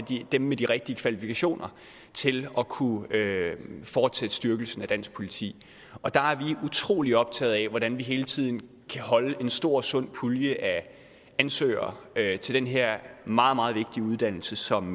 dem med de rigtige kvalifikationer til at kunne fortsætte styrkelsen af dansk politi der er vi utrolig optaget af hvordan vi hele tiden kan holde en stor sund pulje af ansøgere til den her meget meget vigtige uddannelse som